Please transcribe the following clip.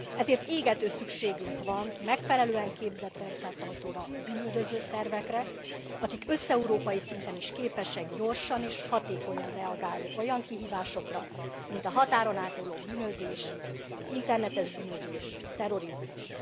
Ezért égető szükségünk van megfelelően képzett rendfenntartókra, bűnüldöző szervekre, akik összeurópai szinten is képesek gyorsan és hatékonyan reagálni olyan kihívásokra, mint a határon átnyúló bűnözés, az internetes bűnözés, a terrorizmus.